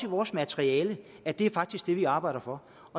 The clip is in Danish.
vores materiale at det faktisk er det vi arbejder for